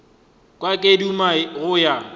kwa ke duma go ya